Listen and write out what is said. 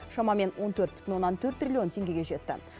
шамамен он төрт бүтін оннан төрт триллион теңгеге жетті